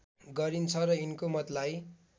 गरिन्छ र यिनको मतलाई